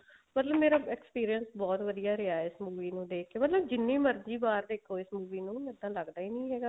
ਮਤਲਬ ਮੇਰਾ experience ਬਹੁਤ ਵਧੀਆ ਰਿਹਾ ਇਸ movie ਨੂੰ ਦੇਖ ਕੇ ਮਤਲਬ ਜਿੰਨੀ ਮਰਜੀ ਵਾਰ ਦੇਖੋ ਇਸ movie ਨੂੰ ਇੱਦਾਂ ਲੱਗਦਾ ਹੀ ਨੀ ਹੈਗਾ